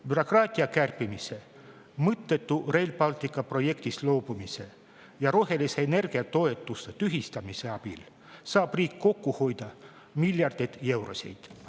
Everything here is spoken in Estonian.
Bürokraatia kärpimise, mõttetu Rail Balticu projektist loobumise ja rohelise energia toetuste tühistamise abil saab riik kokku hoida miljardeid eurosid.